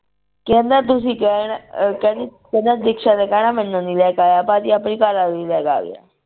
ਕਹਿਂਦਾ ਤੁਸੀ ਕਹਿਣਾ ਅਹ ਕਹਿੰਦੀ ਕਹਿੰਦਾ ਦਿਕਸ਼ਾ ਨੇ ਕਹਿਣਾ ਮੈਨੂੰ ਨੀ ਲੈ ਕੇ ਆਇਆ ਭਾਜੀ ਆਪਣੀ ਘਰਵਾਲੀ ਨੂੰ ਲੈ ਕੇ ਆ ਗਿਆ।